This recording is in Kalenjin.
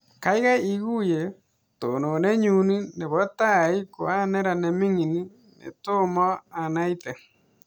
Kaikai iguyee tononet nyuu nepo tai koa neran nemining netoma anaitee